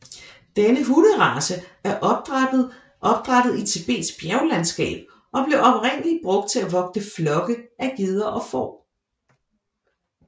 Denne hunderace er opdrættet i Tibets bjerglandskab og blev oprindelig brugt til at vogte flokke af geder og får